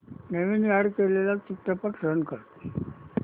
नवीन add केलेला चित्रपट run कर